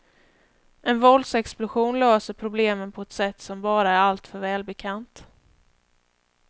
En våldsexplosion löser problemen på ett sätt som bara är alltför välbekant.